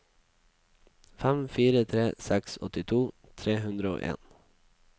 fem fire tre seks åttito tre hundre og en